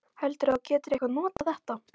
Heldurðu að þú getir eitthvað notað þetta?